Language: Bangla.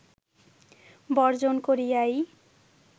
বর্জন করিয়াই